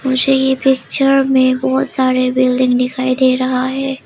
मुझे ये पिक्चर में बहोत सारे बिल्डिंग दिखाई दे रहा है।